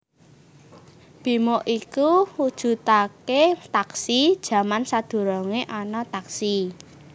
Bemo iku mujudake Taxi jaman sadurunge ana Taxi